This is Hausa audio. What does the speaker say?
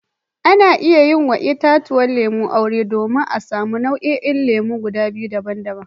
Ana iya yi wa itatuwan lemu aure domin a samu nau'in lemu biyu daban-daban.